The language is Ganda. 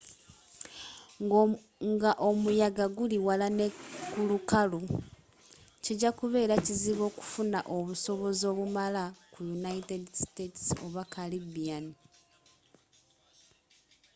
nga omuyaga guli wala ne kulukalu kijja kubera kizibu okufuna obusobozi obumala ku united states oba caribbean